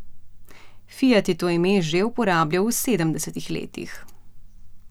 Fiat je to ime že uporabljal v sedemdesetih letih.